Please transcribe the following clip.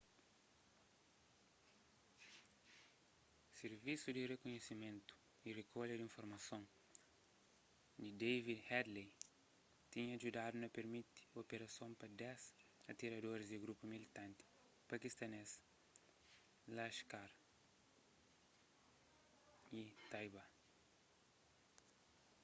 sirvisu di rikunhisimentu y rikolha di informason di david headley tinha djudadu na pirmiti operason pa 10 atiradoris di grupu militanti pakistanês laskhar-e-taiba